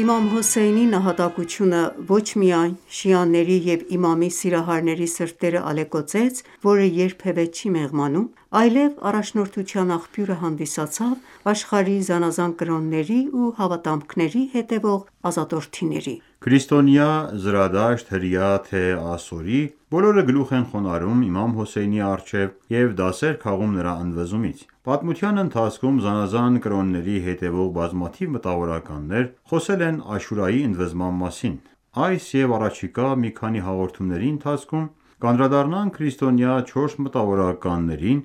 Իմամ Հոսեյնի նահատակությունը ոչ միայն շիաների և իմամի սիրահարների սրտերը ալեկոծեց ,որը երբևէ չի մեղմանում, այլև առաջնորդության աղբյուրը հանդիսացավ աշխարհի զանազան կրոնների ու հավատամքների հետևող ազատորդիների: Քրիստոնյա զրադաշտ, հրյա թե՝ ասորի բոլորը գլուխ են խոնարհում ՝իմամ Հոսեյնի առջև և դասեր քաղում նրա ընդվզումից :Պատմության ընթացքում ,զանազան կրոնների հետևող բազմաթիվ մտավորականներ խոսել են Աշուրայի ընդվզման մասին :Այս և առաջիկա մի քանի հաղորդումների ընթացքում կանդրադառնանք քրիստոնյա չորս մտավորականներին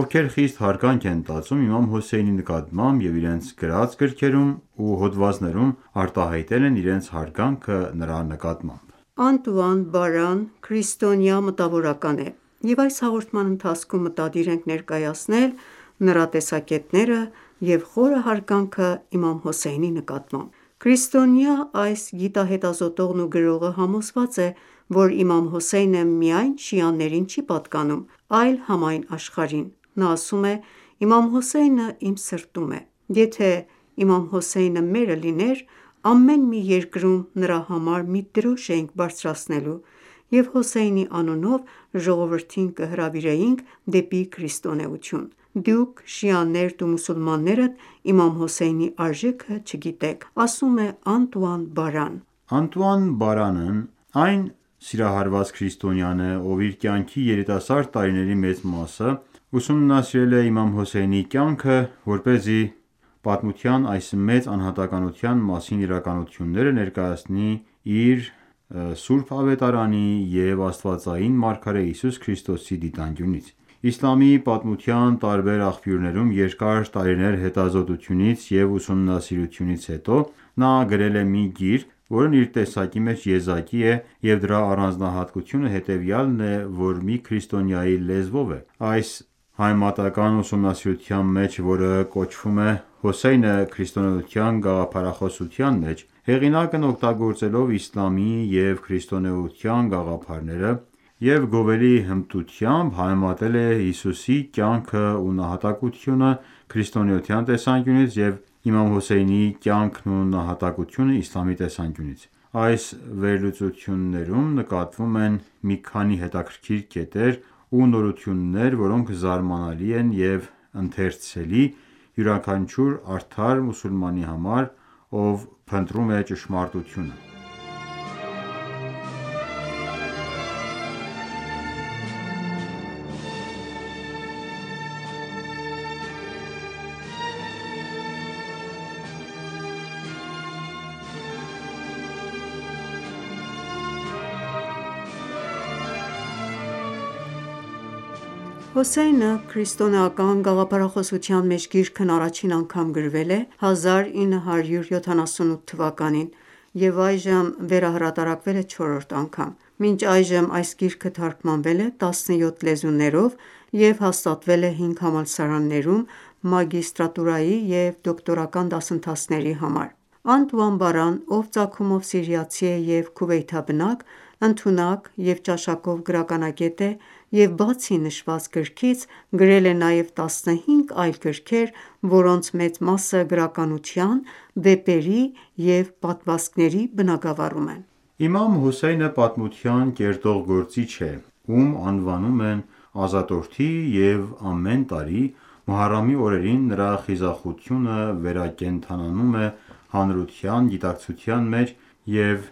,ովքեր խիստ հարգանք են տածում իմամ Հոսեյնի նկատմամբ և իրենց գրած գրքերում ու հոդվածներում արտահայտել են իրենց հարգանքը նրա նկատմամբ: Անտուան Բարա Անտուան Բարան քրիստոնյա մտավորական է և այս հաղորդման ընթացքում մտադիր ենք ներկայացնել նրա տեսակետներն ու խորը հարգանքը իմամ Հոսեյնի նկատմամբ: Քրիստոնյա այս գիտահետազոտողն ու գրողը համոզված է ,որ իմամ Հոսեյնը միայն շիաներին չի պատկանում ,այլ համայն աշխարհին: Նա ասում է.«Իմամ Հոսեյնը իմ սրտում է ,եթե Հոսեյնը մերը լիներ ,ամեն մի երկրում նրա համար մի դրոշ էինք բարձրացնելու և Հոսեյնի անունով ժողովրդին կհրավիրեինք դեպի քրիստոնեություն: Դուք շիաներդ ու մուսուլմաններդ Իմամ Հոսեյնի արժեքը չգիտեք»: Անտուան Բարնն այն սիրահարված քրիստոնյան է ,ով իր կյանքի երիտասարդ տարիների մեծ մասը ուսումնասիրել է իմամ Հոսեյնի կյանքը ,որպեսզի պատմության այս մեծ անհատականության մասին իրականությունները ներկայացնի իր ,սուրբ Ավետարանի և Աստվածային մարգարե Հիսուս Քրիստոսի դիտանկյունից: Իսլամի պատմության տարբեր աղբյուրներում երկար տարիների հետազոտությունից եւ ուսումնասիրությունից հետո նա գրել է մի գիրք, որն իր տեսակի մեջ եզակի է և դրա առանձնահատկությունը հետևյալն է ,որ մի քրիստոնյայի լեզվով է :Այս համեմատական ​​ուսումնասիրության մեջ, որը կոչվում է «Հոսեյնը քրիստոնեության գաղափարախոսության մեջ», հեղինակն օգտագործելով իսլամի և քրիստոնեության գաղափարները և գովելի հմտությամբ, համեմատել է Հիսուսի կյանքն ու նահատակությունը քրիստոնեության տեսանկյունից և Իմամ Հոսեյնի կյանքն ու նահատակությունը իսլամի տեսանկյունից:Այս վերլուծություններում նկատվում են մի քանի հետաքրքիր կետեր ու նորություններ, որոնք զարմանալի են եւ ընթերցելի, յուրաքանչյուր արդար մուսուլմանի համար, ով փնտրում է ճշմարտությունը: «Հոսեյնը քրիստոնեական գաղփարախոսության» մեջ գիրքն առաջին անգամ գրվել է 1978 թվականին և այժմ վերահրատարակվել է չորրորդ անգամ: Մինչ այժմ այս գիրքը թարգմանվել է 17 լեզուներով և հաստատվել 5 համալսարաններում մագիստրատուրայի և դոկտորական դասընթացների համար։ Անտուան ​​Բարան, ով ծագումով սիրիացի է և Քուվեյթաբնակ, ընդունակ և ճաշակով գրականագետ է, և բացի նշված գրքից, գրել է նաև 15 այլ գրքեր, որոնց մեծ մասը գրականության, վեպերի և պատմվածքների բնագավառում են: Իմամ Հոսեյնը պատմություն կերտող գործիչ է, ում անվանում են «ազատորդի»,և ամեն տարի Մոհարամի օրերին նրա խիզախությունը վերակենդանանում է հանրության գիտակցության մեջ և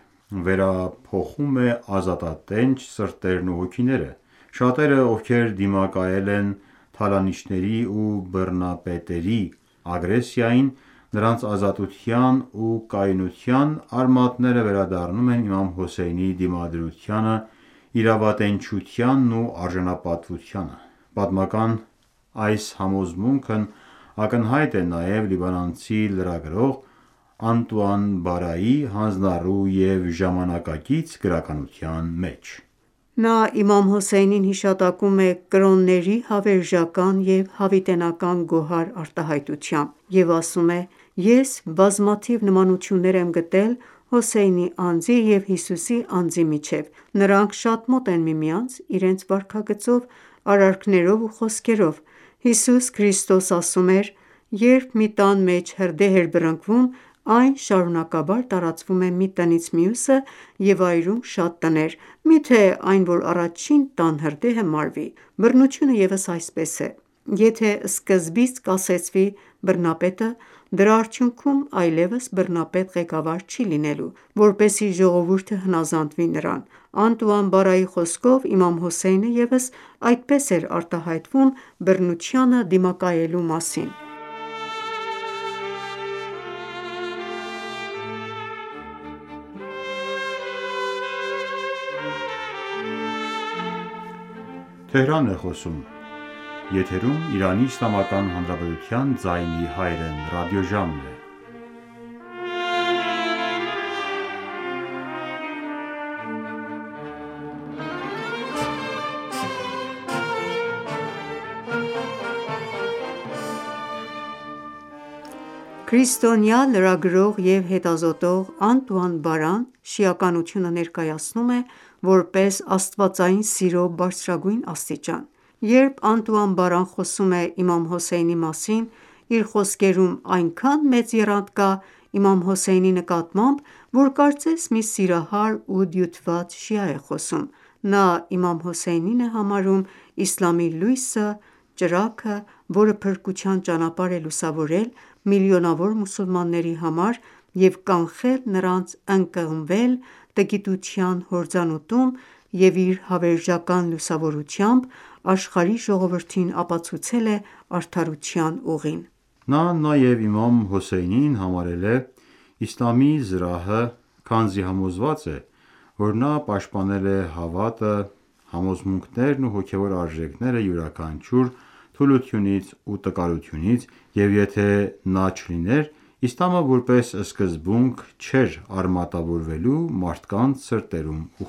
վերափոխում է ազատատենչ սրտերն ու հոգիները :Շատերը ,ովքեր դիմակայել են թալանիչների ու բռնապետների ագրեսիային, նրանց ազատության ու կայունության արմատները վերադառնում են իմամ Հոսեյնի դիմադրությանը ,իրավատենչությանն ու արժանապատվությանը: Պատմական այս համոզմունքն ակնհայտ է նաև լիբանանցի լրագրող «Անտուան Բարայի» հանձնառու և ժամանակակից գրականության մեջ։ Նա Իմամ Հոսեյնին հիշատակում է «կրոնների հավերժական և հավիտենական գոհար» արտահայտությամբ և ասում է.«Ես բազմաթիվ նմանություններ եմ գտել Հոսեյնի անձի և Հիսուսի անձի միջև:Նրանք շատ մոտ են միմյանց իրենց վարքագծով, արարքներով ու խոսքերով։ Հիսուս Քրիստոս ասում էր.«Երբ մի տան մեջ հրդեհ է բռնկվում, այն շարունակաբար տարածվում է մի տնից մյուսը, և այրում շատ տներ, միթե այն ,որ առաջին տան հրդեհը մարվի։ Բռնությունը ևս այսպես է ,եթե սկզբից կասեցվի բռնապետը ,դրա արդյունքում այլևս բռնապետ ղեկավար չի լինելու ,որպեսզի ժողովուրդը հնազանդվի նրան »: Անտուան Բարայի խոսքով՝ Իմամ Հոսեյնը ևս այսպես էր արտահայտվում բռնությանը դիմակայելու մասին: Քրիստոնյա լրագրող և հետազոտող Անտուան ​​Բարան շիականությունը ներկայացնում է, որպես աստվածային սիրո բարձրագույն աստիճան:Երբ Անտուան ​​Բարան խոսում է Իմամ Հոսեյնի մասին, իր խոսքերում այնքան մեծ եռանդ կա, Իմամ Հոսեյնի նկատմամբ, որ կարծես մի սիրահար ու դյութված շիա է խոսում:Նա Իմամ Հոսեյնին է համարում «Իսլամի լույսը»,.ճրագ ,որը փրկության ճանապարհ է լուսավորել միլիոնավոր մուսուլմանների համար և կանխել նրանց ընկղմվել տգիտության հորձանուտում և իր հավերժական լուսավորությամբ աշխարհի ժողովրդին ապացուցել է արդարության ուղին :Նա նաև իմամ Հոսեյնին համարել է «Իսլամի զրահը» ,քանզի համոզված է ,որ նա պաշտպանել է հավատքը, համոզմունքներն ու հոգեւոր արժերքները յուրաքանչյուր թուլությունից ու տկարությունից և եթե նա չլիներ, Իսլամը որպես սկզբունք չէր արմատավորվելու մարդկանց սրտերում ու